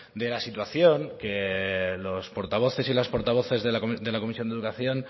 de la situación que los portavoces y las portavoces de la comisión de educación